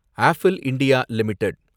apple India limited